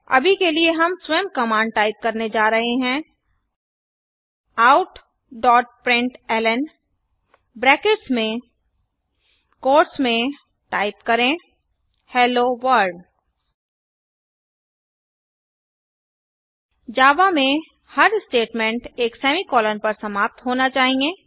अभी के लिए हम स्वयं कमांड टाइप करने जा रहे हैं outप्रिंटलन ब्रैकेट्स में क्वोट्स में टाइप करें हेलोवर्ल्ड जावा में हर स्टेटमेंट एक सेमीकॉलन पर समाप्त होना चाहिए